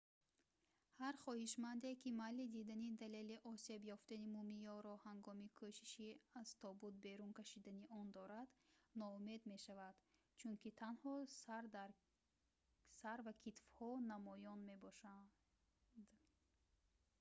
ҳар хоҳишманде ки майли дидани далели осеб ёфтани мумиёро ҳангоми кӯшиши аз тобут берун кашидани он дорад ноумед мешавад чунки танҳо сар ва китфҳо намоён мебошанд